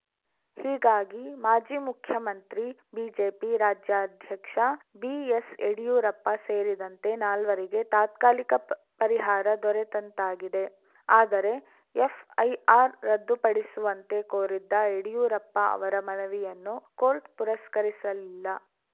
ಹೀಗಾಗಿ ಮಾಜಿ ಮುಖ್ಯಮಂತ್ರಿ ಬಿಜೆಪಿ ರಾಜ್ಯಾಧ್ಯಕ್ಷ ಬಿಎಸ್‌ಯಡಿಯೂರಪ್ಪ ಸೇರಿದಂತೆ ನಾಲ್ವರಿಗೆ ತಾತ್ಕಾಲಿಕ ಪರಿಹಾರ ದೊರೆತಂತಾಗಿದೆ ಆದರೆ ಎಫ್‌ಐಆರ್‌ ರದ್ದುಪಡಿಸುವಂತೆ ಕೋರಿದ್ದ ಯಡಿಯೂರಪ್ಪ ಅವರ ಮನವಿಯನ್ನು ಕೋರ್ಟ್‌ ಪುರಸ್ಕರಿಸಲಿಲ್ಲ